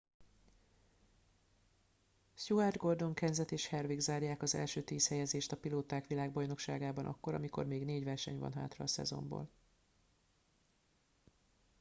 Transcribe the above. stewart gordon kenseth és harvick zárják az első tíz helyezést a pilóták világbajnokságában akkor amikor még négy verseny van hátra a szezonból